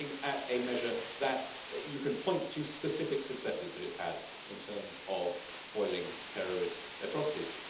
we are looking at a measure where you can point to specific successes that it has had in terms of foiling terrorist atrocities.